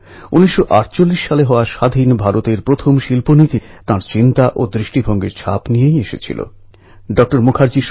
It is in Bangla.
মহারাষ্ট্র কর্ণাটক গোয়া অন্ধ্রপ্রদেশ তেলেঙ্গানার লোকেদের অপার শ্রদ্ধা এবং ভক্তি রয়েছে এই ভগবানের প্রতি